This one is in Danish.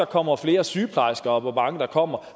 kommer flere sygeplejersker og hvor mange der kommer